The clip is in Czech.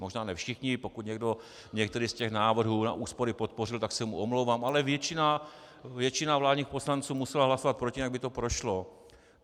Možná ne všichni, pokud někdo některý z těch návrhů na úspory podpořil, tak se mu omlouvám, ale většina vládních poslanců musela hlasovat proti, jinak by to prošlo.